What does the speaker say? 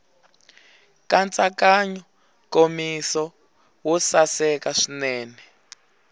nkatsakanyo nkomiso wo saseka swinene